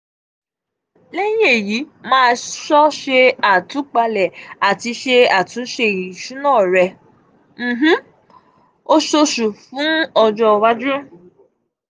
leyin eyi ma so se atupale ati se atunse isuna re ni um um osoosu fun um ojo iwaju.